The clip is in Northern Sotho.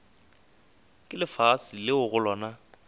ke lefase leo go lona